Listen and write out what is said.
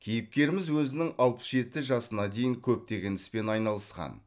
кейіпкеріміз өзінің алпыс жеті жасына дейін көптеген іспен айналысқан